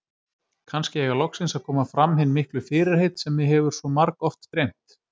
Kannski eiga loksins að koma fram hin miklu fyrirheit sem mig hefur svo margoft dreymt.